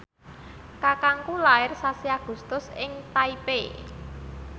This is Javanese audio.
kakangku lair sasi Agustus ing Taipei